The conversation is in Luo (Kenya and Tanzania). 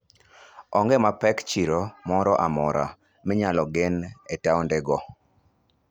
Onge mapek chiro moro amora minyalo gen e taonde go.